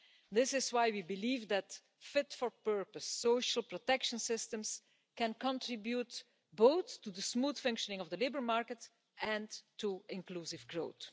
This is why we believe that fit-for-purpose social protection systems can contribute both to the smooth functioning of the labour market and to inclusive growth.